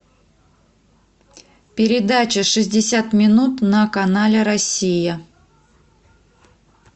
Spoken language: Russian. передача шестьдесят минут на канале россия